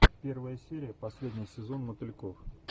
первая серия последний сезон мотыльков